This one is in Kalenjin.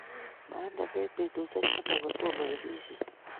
Imande bek betusiek taman kotomo kesishet